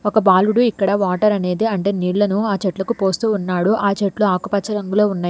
ఒక బాలుడు ఇక్కడ వాటర్ అనేది అంటే నీళ్లను ఆ చెట్లకు పోస్తూ ఉన్నాడు ఆ చెట్లు ఆకుపచ్చ రంగులో ఉన్నయ్.